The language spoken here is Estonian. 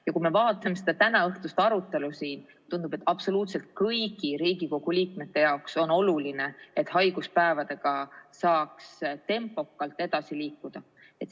Ja kui me vaatame seda tänaõhtust arutelu siin, siis tundub, et absoluutselt kõigi Riigikogu liikmete jaoks on oluline, et haiguspäevadega saaks tempokalt edasi liikuda.